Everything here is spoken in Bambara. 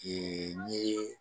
Ɛɛ n ye